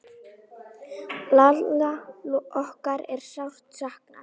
Lalla okkar er sárt saknað.